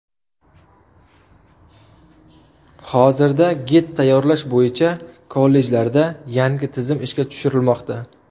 Hozirda gid tayyorlash bo‘yicha kollejlarda yangi tizim ishga tushirilmoqda.